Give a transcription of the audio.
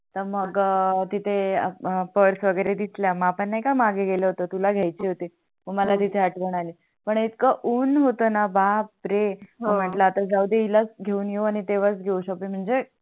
तर मग तिथे पर्स वगेरे दिसल्या मग आपण नाही का आगे गेलो होतो तुला घ्याची होती मग मला तिथे आठवण आली पण एथक उन होतणा बापरे हो मी म्हटल आता जाऊदे हिला घेऊन येऊ तेवाच घेऊ शकते म्हणजे